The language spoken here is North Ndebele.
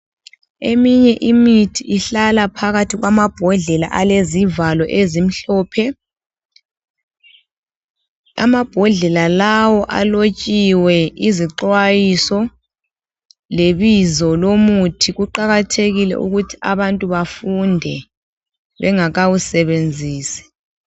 Eminye imithi ihlala phakathi kwama mbodlela alezival ezimhlophe. Amambodlela lawo alotshiwe izixwayiso lebizo lo muthi. Kuqakathekile ukuthi abantu bafunde bengaka wusebenzisi.